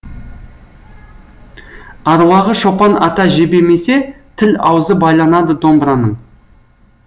аруағы шопан ата жебемесе тіл аузы байланады домбыраның